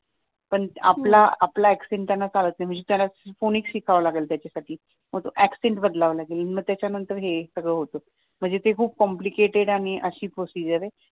पण हम्म आपला आपला accent त्यांना चालत नाही म्हणजे त्याला phoenix शिकावं लागेल त्याच्यासाठी मग तो accent बदलावा लागेल मग त्याच्यानंतर हे सगळं होत म्हणजे ती खूप कोमपलेटेड आणि अशी प्रोसीजर आहे